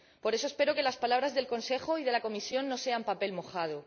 Por eso espero que las palabras del Consejo y de la Comisión no sean papel mojado.